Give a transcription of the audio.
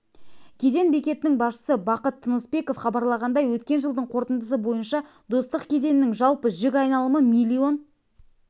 кеден бекетінің басшысы бақыт тынысбеков хабарлағандай өткен жылдың қорытындысы бойынша достық кеденінің жалпы жүк айналымы миллион